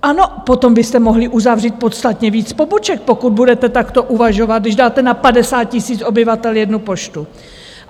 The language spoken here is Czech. Ano, potom byste mohli uzavřít podstatně víc poboček, pokud budete takto uvažovat, když dáte na 50 000 obyvatel jednu poštu.